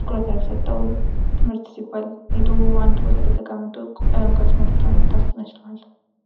ትኩረት ያልሰጠው ትምህርት ሲባል የተወው አንድ ቦታ ላይ ተቀምጦ ቀለም ትምህርት ተምሮ መምጣት ይመስለዋል።